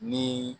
Ni